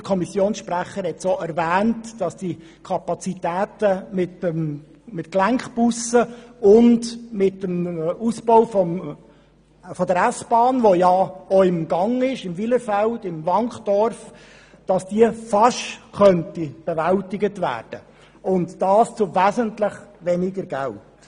Der Kommissionssprecher hat erwähnt, dass die Kapazitäten mit Gelenkbussen und mit einem Ausbau der S-Bahn, wie er im Wylerfeld im Wankdorf im Gang ist, fast bewältigt werden könnten – und dies für wesentlich weniger Geld.